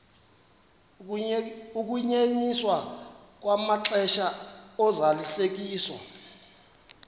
ukunyenyiswa kwamaxesha ozalisekiso